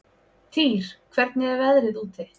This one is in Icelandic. Týr, hvernig er veðrið úti?